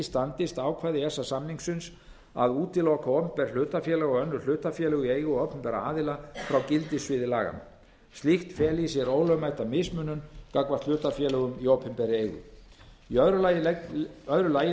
standist ákvæði e e s samningsins að útiloka opinber hlutafélög og önnur hlutafélög í eigu opinberra aðila frá gildissviði laganna slíkt feli í sér ólögmæta mismunun gagnvart hlutafélögum í opinberri eigu í öðru lagi